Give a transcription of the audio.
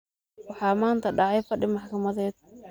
Waxaa maanta dhacay fadhi maxkamadeed.